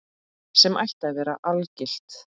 Sem ætti að vera algilt.